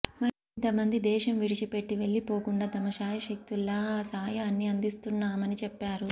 మరింత మంది దేశం విడిచిపెట్టి వెళ్లిపోకుండా తమ శాయశక్తులా సాయాన్ని అందిస్తున్నామని చెప్పారు